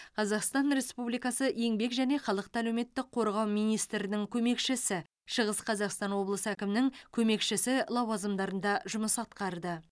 қазақстан республикасы еңбек және халықты әлеуметтік қорғау министрінің көмекшісі шығыс қазақстан облысы әкімінің көмекшісі лауазымдарында жұмыс атқарды